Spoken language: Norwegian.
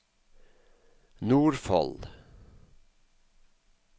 Nordfold